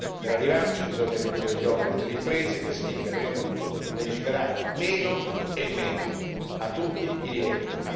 Per arrivarci bisogna ridurre gli oneri delle imprese, il che significa prima di tutto legiferare meno e meglio a tutti i livelli.